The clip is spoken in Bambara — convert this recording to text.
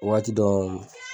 Waati dɔw .